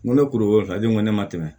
N ko ne kuru ta don ko ne ma tɛmɛ